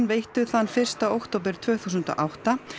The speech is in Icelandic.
veittu þann fyrsta október tvö þúsund og átta